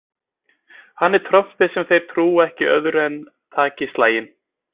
Hann er trompið sem þeir trúa ekki öðru en taki slaginn.